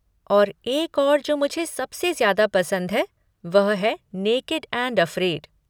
और एक और जो मुझे सबसे ज्यादा पसंद है, वह है नेकेड एंड अफ़्रेड।